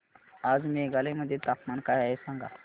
आज मेघालय मध्ये तापमान काय आहे सांगा